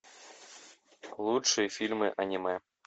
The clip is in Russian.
лучшие фильмы аниме